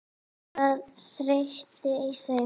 Var þreyta í þeim?